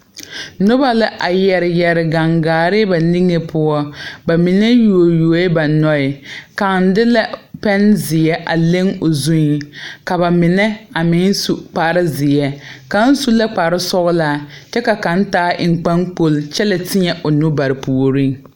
Nobɔ la a yɛre yɛre gaŋgaare ba niŋe poɔ ba mine yuo yuoee ba noɔɛ kaŋ de la pɛnzeɛ a leŋ o zuiŋ ka ba mine a meŋ su kparezeɛ kaŋ su la kparesɔglaa kyɛ ka kaŋ taa eŋ kpaŋkol kyɛ la teɛ o nu bare puoriŋ.